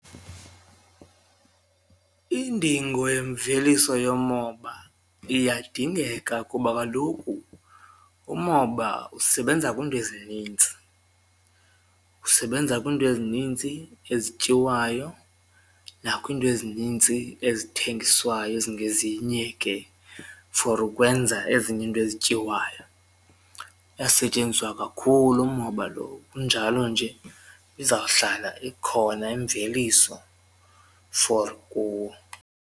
Indingo yemveliso yomoba iyadingeka kuba kaloku umoba usebenza kwiinto ezinintsi, usebenza kwiinto ezinintsi ezityiwayo nakwiinto ezinintsi ezithengiswayo ezingezinye ke for ukwenza ezinye iinto ezityiwayo. Uyasetyenziswa kakhulu umoba loo, kunjalo nje izawuhlala ikhona imveliso for .